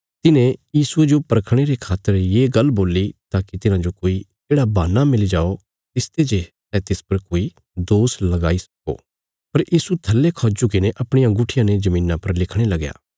तिन्हे यीशुये जो परखणे रे खातर ये गल्ल बोल्ली ताकि तिन्हाजो कोई येढ़ा बहान्ना मिली जाओ तिसते जे सै तिस पर कोई दोष लगाई सक्को पर यीशु थल्ले खौ झुकीने अपणिया गुट्ठिया ने धरतिया पर लिखणे लगया